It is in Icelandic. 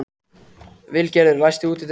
Vilgerður, læstu útidyrunum.